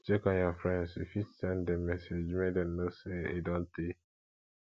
to check on your friends you fit send them message make them know say e don tey